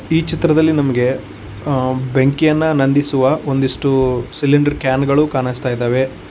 ಈ ಚಿತ್ರದಲ್ಲಿ ನಮ್ಗೆ ಆ ಬೆಂಕಿಯನ್ನು ನಂದಿಸುವ ಒಂದಿಷ್ಟು ಸಿಲಿಂಡರ್ ಕ್ಯಾನ್ ಗಳು ಕಾಣಸ್ತಾತೈದವೆ.